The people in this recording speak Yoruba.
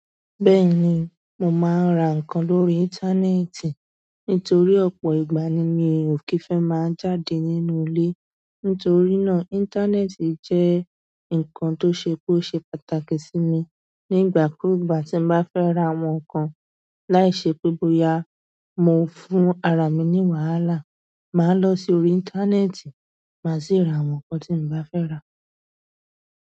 Bẹ́ẹ̀ni, mò máa ń ra ǹkan lórí íńtánẹ́ẹ̀tì nítorí ọ̀pọ̀ ìgbà ni mi ò kì í fẹ́ máa jáde nínú ilé. Nítorí náà, íńtánẹ́ẹ̀tì jẹ́ ǹkan tó ṣe pé ó ṣe pàtàkì sí mi. Nígbà kúùgbà tí n bá fẹ́ ra àwọn ǹkan láìṣe pé bóyá mo ń fún ara mi ní wàhálà, màá lọ sí orí íńtánẹ́ẹ̀tì má sì ra àwọn ǹkan tí n bá fẹ́ rà.